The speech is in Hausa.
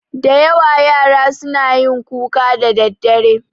Da yawa yara suna yin kuka da daddare